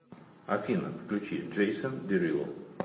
афина включи джейсон дерило